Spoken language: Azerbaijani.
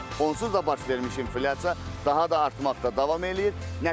Onsuz da baş vermiş inflyasiya daha da artmaqda davam eləyir.